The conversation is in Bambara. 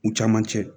U caman cɛ